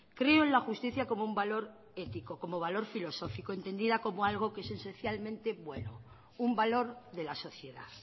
creo en la justicia como un valor ético como valor filosófico entendida como algo que es esencialmente bueno un valor de la sociedad